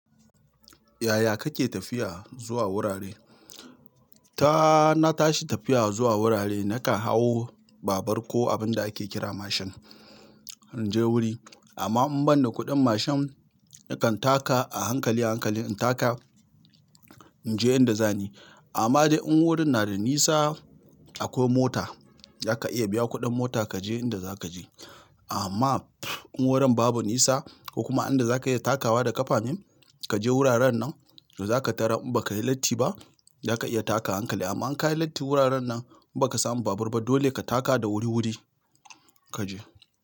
Yaya kake tafiya zuwa wurare? Ta, na tashi tafiya zuwa wurare, naka hau babur ko abin da ake kira mashin, in je wuri. Amma in ban da kuɗin mashin, nakan taka a hankali, hankali in taka, in je inda zani. Amma dai in wurin na da nisa akwai mota, zaka iya biya kuɗin mota kaje inda zaka je. Amma in wurin babu nisa ko kuma inda zaka iya takawa da ƙafa ne kaje wuraren nan zaka tarar in bakayi latti ba, zaka iya takawa a hankali a hankali amma in kayi latti wuraren nan in baka samu babur ba dole ka taka da wuri-wuri kaje.